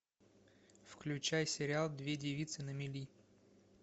включай сериал две девицы на мели